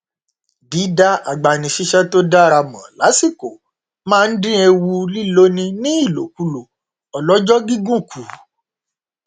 dídá agbanisíṣẹ tó dára mọ lásìkò máa n dín ewu líloni ní ìlòkulòn ọlọjọ gígùn kù